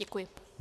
Děkuji.